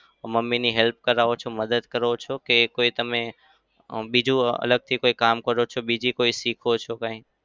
મમ્મીની help કરવો છો? મદદ કરો છો કે કોઈ તમે અમ બીજું કોઈ અલગથી કોઈ કામ કરો? બીજું કઈ શીખો છો કઈ?